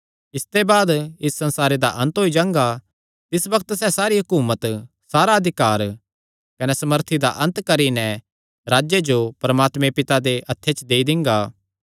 इसते बाद इस संसारे दा अन्त होई जांगा तिस बग्त सैह़ सारी हकुमत सारा अधिकार कने सामर्थी दा अन्त करी नैं राज्जे जो परमात्मा पिता दे हत्थे च देई दिंगा